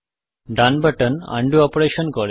ডান button undo অপারেশনকাজ করে